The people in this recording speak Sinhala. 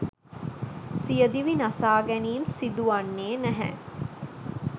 සියදිවි නසා ගැනීම් සිදුවන්නේ නැහැ